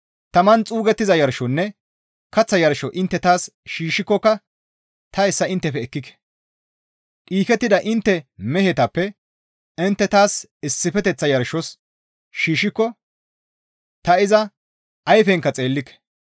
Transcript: Taman xuugettiza yarshonne kaththa yarsho intte taas shiishshikokka ta hessa inttefe ekkike; dhiikettida intte mehetappe intte taas issifeteththa yarshos shiishshiko ta iza ayfenka xeellike.